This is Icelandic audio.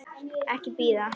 Ekki bíða.